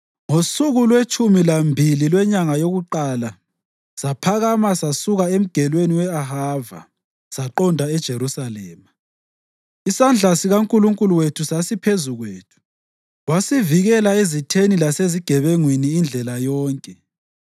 Ngosuku lwetshumi lambili lwenyanga yokuqala saphakama sasuka eMgelweni we-Ahava saqonda eJerusalema. Isandla sikaNkulunkulu wethu sasiphezu kwethu, wasivikela ezitheni lasezigebengwini indlela yonke.